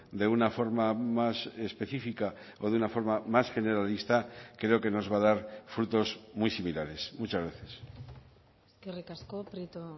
de una forma más específica o de una forma más generalista creo que nos va a dar frutos muy similares muchas gracias eskerrik asko prieto